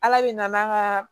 Ala de nana an ka